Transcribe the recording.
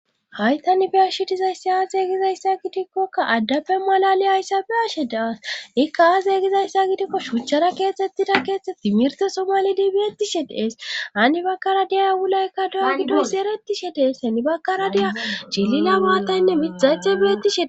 Haytan biyashe dizayssi aa zeeygizayssa gidikkokka addappe malali ayssabe ashe daaas ikka aazeygizayssa gidikko shuuchara keexettida keexhte timirte somalidi biettishe dees ani bakkara diyay wulaykka do'a gidos eretishe dees heni bakkara deya chilina baataynne midhaythe beetishe.